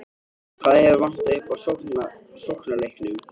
Hvað hefur vantað upp á í sóknarleiknum?